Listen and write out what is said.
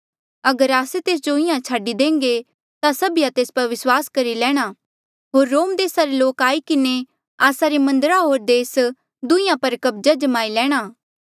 अगर आस्से तेस जो इंहां छाडी देहंगे ता सभीया तेस पर विस्वास करी लैणा होर रोम देसा रे लोक आई किन्हें आस्सा रे मंदर होर देस दुहींयां पर कब्ज़ा जमाई लैणा